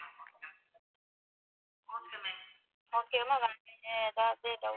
Okay ma'am வேற எதாவது doubt இருக்கா ma'am.